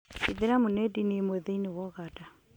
Ithĩramu nĩ ndini ĩmwe thĩiniĩ wa Uganda